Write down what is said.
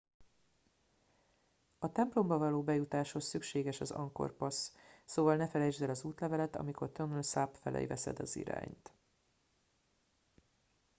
a templomba való bejutáshoz szükséges az angkor pass szóval ne felejtsd el az útleveled amikor tonle sap felé veszed az irányt